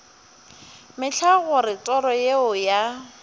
mehla gore toro yeo ya